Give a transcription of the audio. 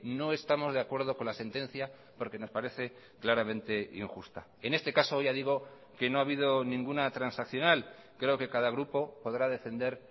no estamos de acuerdo con la sentencia porque nos parece claramente injusta en este caso ya digo que no ha habido ninguna transaccional creo que cada grupo podrá defender